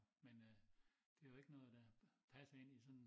Men øh det jo ikke noget der passer ind i sådan